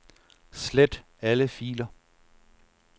Slet alle filer.